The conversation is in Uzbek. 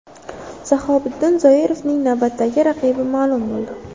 Shahobiddin Zoirovning navbatdagi raqibi ma’lum bo‘ldi.